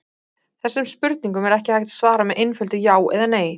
Þessum spurningum er ekki hægt að svara með einföldu já eða nei.